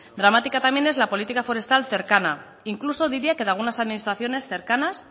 dramática también es la política forestal cercana incluso diría que de algunas administraciones cercanas